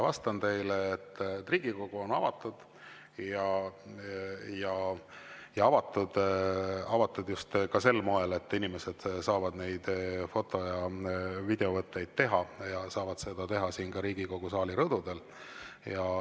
Vastan teile, et Riigikogu on avatud ja avatud ka just sel moel, et inimesed saavad neid foto‑ ja videovõtteid teha ja saavad seda teha ka siin Riigikogu saali rõdul.